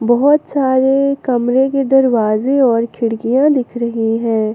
बहुत सारे कमरे के दरवाजे और खिड़कियां दिख रही हैं।